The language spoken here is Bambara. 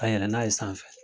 Ka yɛlɛ n'a ye sanfɛ